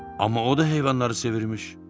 Amma o da heyvanları sevirmiş.